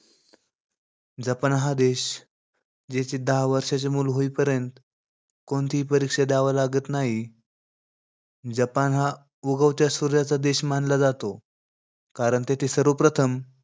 Japan हा देश, जेथे दहा वर्षाचे मुल होईपर्यंत कोणतीही परीक्षा द्याव लागत नाही. जपान हा उगवत्या सूर्याचा देश मानला जातो. कारण येथे सर्वप्रथम,